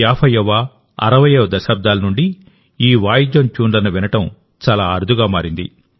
50వ60వ దశాబ్దాల నుండి ఈ వాయిద్యం ట్యూన్లను వినడం చాలా అరుదుగా మారింది